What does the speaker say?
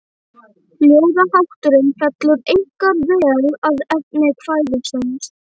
Ljóðahátturinn fellur einkar vel að efni kvæðisins.